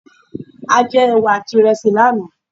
A jẹ ẹwà àti iresi lánàá.